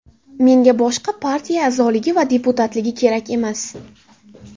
Menga boshqa partiya a’zoligi va deputatligi kerak emas.